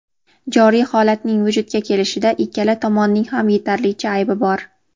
joriy holatning vujudga kelishida ikkala tomonning ham yetarlicha aybi bor.